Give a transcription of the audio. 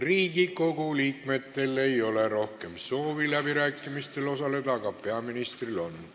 Riigikogu liikmetel ei ole rohkem soovi läbirääkimistel osaleda, aga peaministril on.